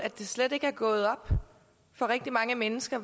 det slet ikke er gået op for rigtig mange mennesker